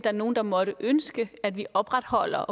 er nogle der måtte ønske at vi opretholder